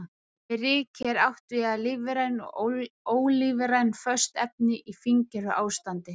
Með ryki er átt við lífræn og ólífræn föst efni í fíngerðu ástandi.